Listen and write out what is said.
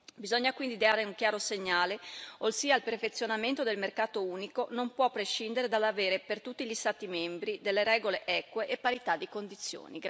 Bisogna quindi dare un chiaro segnale, ossia il perfezionamento del mercato unico non può prescindere dall'avere, per tutti gli Stati membri, delle regole eque e parità di condizioni.